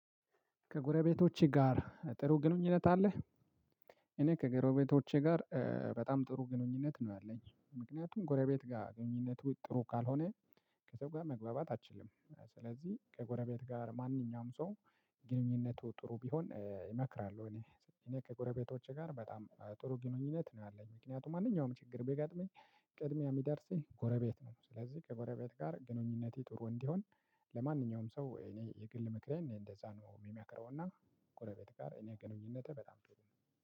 ከጎረቤቶች ጋር ጥሩ ግንኙነት አለህ? እኔ ከጎረቤቶቼ ጋር በጣም ጥሩ ግንኙነት ነው ያለኝ ምክንያቱም ከጎረቤት ጋር ግንኙነቱ ጥሩ ካልሆነ ከዛ ጋር መግባባት አትችልም ስለዚህ ከጎረቤት ጋር ማንኛውም ሰው ግንኙነቱ ጥሩ ቢሆን እመክራለሁ። እኔ ከጎረቤቶቼ ጋር በጣም ጥሩ ግንኙነት ነው ያለኝ ምክንያቱም ማንኛውም ችግር ቢገጥመኝ ቀድሞ የሚደርስልኝ ጎረቤት ነው። ስለዚህ ከጎረቤት ጋር ግንኙነቴ ጥሩ እንዲሆን ለማንኛውም ሰው እኔ የግል ምክሬ እንደዛ ነው የምመክረውና ጎረቤት ጋር እኔ ግንኙነቴ በጣም ጥሩ ነው።